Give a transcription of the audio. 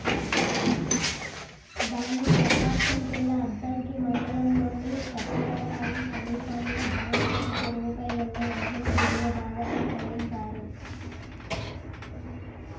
దాన్ని ప్రకాశం జిల్లా అద్దంకి మండలంలోని చక్రాయపాలెం సమీపంలో భవనాసి చెరువుపై ఉన్న వంతెన దిగువ భాగాన పడేశారు